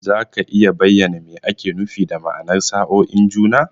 Za ka iya bayyana me ake nufi da ma'anar sa'oin juna?